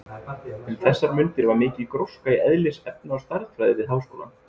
Um þessar mundir var mikil gróska í eðlis-, efna- og stærðfræði við háskólann.